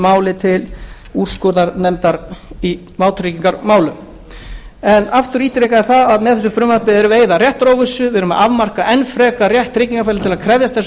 sínu til úrskurðarnefndar í vátryggingarmálum aftur ítreka ég að með þessu frumvarpi erum við að eyða réttaróvissu afmarka enn frekar rétt tryggingafélags til að krefjast þessara upplýsinga